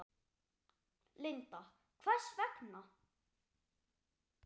Linda: Hvers vegna?